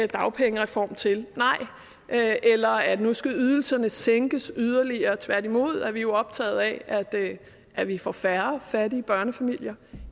dagpengereform til nej eller at nu skal ydelserne sænkes yderligere tværtimod er vi optaget af at vi får færre fattige børnefamilier